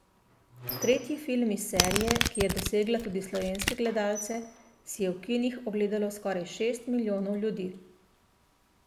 Tretji film iz serije, ki je dosegla tudi slovenske gledalce, si je v kinih ogledalo skoraj šest milijonov ljudi.